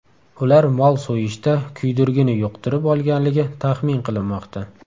Ular mol so‘yishda kuydirgini yuqtirib olganligi taxmin qilinmoqda.